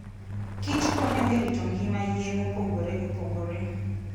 kich konyo e rito ngima yien mopogore opogore.